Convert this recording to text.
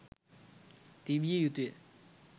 තිබිය යුතු ය.